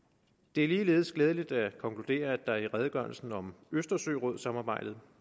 det er ligeledes glædeligt at konkludere at der i redegørelsen om østersørådssamarbejdet